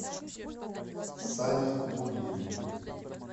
сане гурьеве